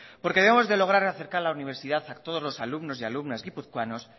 porque debemos de lograr acercar la universidad a todos los alumnos y alumnas guipuzcoanos